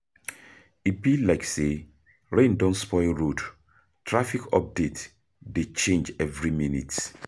E be like say rain don spoil road, traffic update dey change every minute.